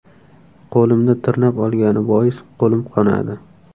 Qo‘limni tirnab olgani bois, qo‘lim qonadi.